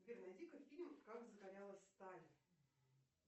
сбер найди ка фильм как закалялась сталь